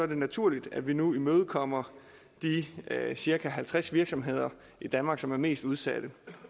det naturligt at vi nu imødekommer de cirka halvtreds virksomheder i danmark som er mest udsatte